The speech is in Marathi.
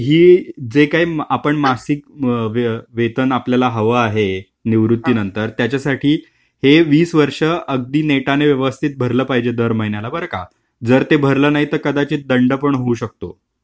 पण ही जे काही आपण मासिक वेतन आपल्याला हवं आहे निवृत्तीनंतर त्याच्यासाठी हे वीस वर्ष अगदी नेटाने व्यवस्थित भरलं पाहिजे दर महिन्याला बरं का! जर ते भरलं नाही तर कदाचित दंड पण होऊ शकतो.